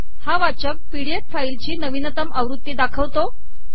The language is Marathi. हा वाचक पीडीएफ फाईल ची नवीनतम आवृती दाखवतो